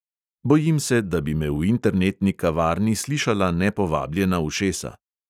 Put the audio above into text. Bojim se, da bi me v internetni kavarni slišala nepovabljena ušesa.